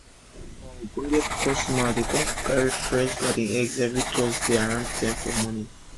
one of our ogbonge customer dey come buy our fresh garden egg everi thursday around ten for morning